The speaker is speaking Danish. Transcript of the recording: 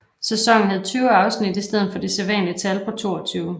Sæsonen havde 20 afsnit i stedet for det sædvanlige tal på 22